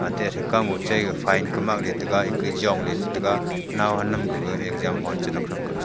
ate athe kam mo chai gaga file kamoi jong le chi tega owam ham exam hall chinak .